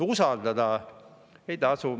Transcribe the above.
Usaldada ei tasu.